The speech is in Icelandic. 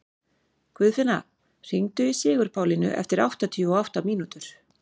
Guðfinna, hringdu í Sigurpálínu eftir áttatíu og átta mínútur.